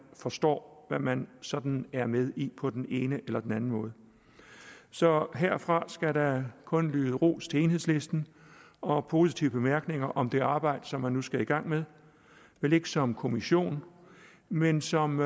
forstår hvad man sådan er med i på den ene eller den anden måde så herfra skal der kun lyde ros til enhedslisten og positive bemærkninger om det arbejde som man nu skal i gang med vel ikke som kommission men som